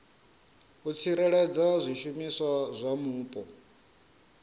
u tsireledza zwishumiswa zwa mupo